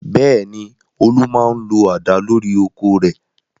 Bẹ́ẹ̀ ni, Olú máa ń lo àdá lórí oko rẹ̀.